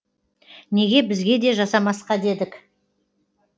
неге бізге де жасамасқа дедік